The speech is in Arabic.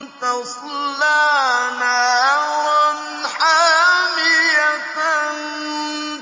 تَصْلَىٰ نَارًا حَامِيَةً